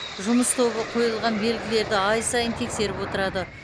жұмыс тобы қойылған белгілерді ай сайын тексеріп отырады